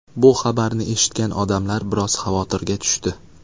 Bu xabarni eshitgan odamlar biroz xavotirga tushdi.